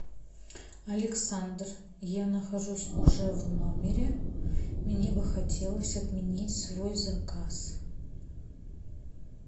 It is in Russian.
александр я нахожусь уже в номере мне бы хотелось отменить свой заказ